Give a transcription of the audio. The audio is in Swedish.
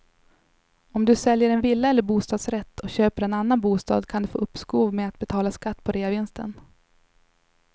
Om du säljer en villa eller bostadsrätt och köper en annan bostad kan du få uppskov med att betala skatt på reavinsten.